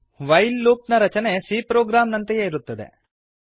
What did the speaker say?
while loop ನ ರಚನೆ c program ನಂತೆಯೇ ಇರುತ್ತದೆ